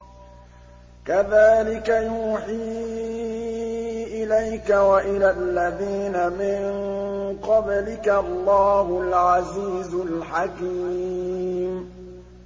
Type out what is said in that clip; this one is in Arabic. كَذَٰلِكَ يُوحِي إِلَيْكَ وَإِلَى الَّذِينَ مِن قَبْلِكَ اللَّهُ الْعَزِيزُ الْحَكِيمُ